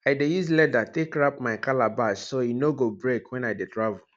i dey use leather take wrap my calabash so e no go break wen i dey travel